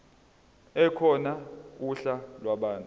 ekhona uhla lwabantu